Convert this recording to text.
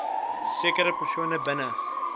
sekere persone binne